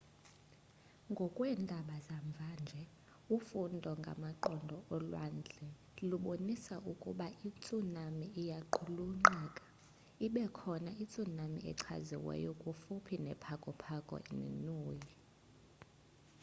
ngokweendaba zamva nje ufundo ngamaqondo olwandle lubonise ukuba itsunami iyaqulunqeka ibekhona itsunami echaziweyo kufuphi ne pago pago ne niue